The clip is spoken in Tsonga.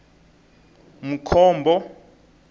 mkhombo